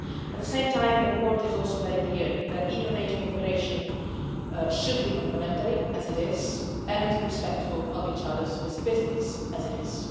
At the same time, the report is also very clear that EU-NATO cooperation should be complementary, as it is, and respectful of each other specificities, as it is.